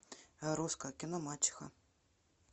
русское кино мачеха